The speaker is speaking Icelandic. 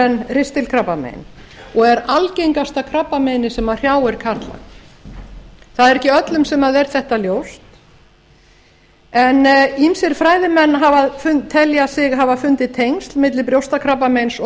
en ristilkrabbamein og er algengasta krabbameinið sem hrjáir karla það er ekki öllum sem er þetta ljóst en ýmsir fræðimenn telja sig hafa fundið tengsl milli brjóstakrabbameins og